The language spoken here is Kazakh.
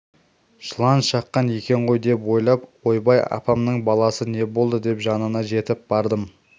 жылан шаққан екен ғой деп ойлап ойбай апамның баласы не болды деп жанына жетіп бардым